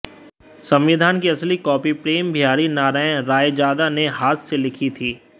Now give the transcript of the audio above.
संविधान की असली कॉपी प्रेम बिहारी नारायण रायजादा ने हाथ से लिखी थी